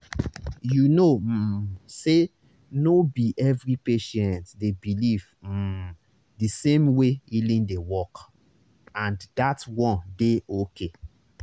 you know um say no be every patient dey believe um the same way healing dey work—and that one dey okay.